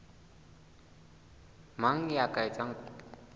mang ya ka etsang kopo